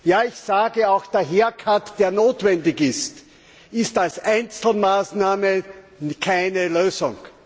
Ja, ich sage auch, der Haircut der notwendig ist, ist als Einzelmaßnahme keine Lösung.